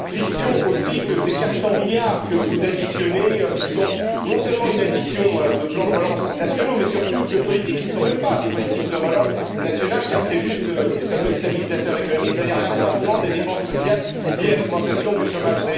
Fiction aussi que ces 400 milliards que vous additionnez, qui sont non seulement une addition de plans de relance nationaux, mais surtout de politiques qui ne sont même pas des politiques de relance nationales car c'est juste des fameux stabilisateurs économiques, c'est à dire l'accroissement des dépenses sociales liées à l'augmentation du chômage.